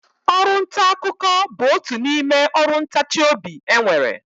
Ọrụntaakụkọ bụ otu n'ime ọrụ ntachiobi e nwere